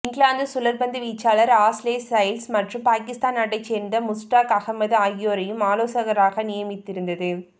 இங்கிலாந்து சுழற்பந்து வீச்சாளர் Ashley Giles மற்றும் பாகிஸ்தான் நாட்டைச் சேர்ந்த முஸ்டாக் அகமது ஆகியோரையும் ஆலோசகராக நியமித்திருந்தது